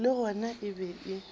le gona e be e